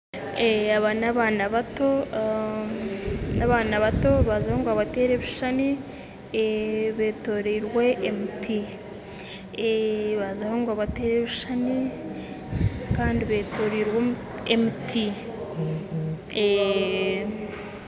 Aba n'abaana bato baazaho ngu babateere ebishushani kandi beetoriirwe emiti baazaho ngu babateere ebishushani kandi beetoriirwe emiti